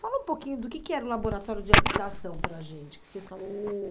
Fala um pouquinho do que que era o Laboratório de Habitação para a gente, que você falou...